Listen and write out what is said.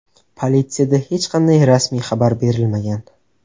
Politsiyada hech qanday rasmiy xabar berilmagan.